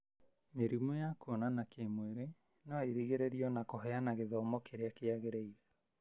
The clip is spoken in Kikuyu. Mĩrimũ ya kuonana kĩmwĩri no ĩrigĩrĩrĩo na kũheana githomo kĩrĩa kĩagĩrĩire.